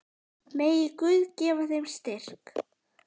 Megi Guð gefa þeim styrk.